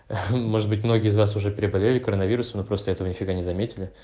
ха-ха может быть многие из вас уже переболели коронавирусом но просто этого нифига не заметили